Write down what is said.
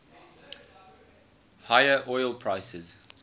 higher oil prices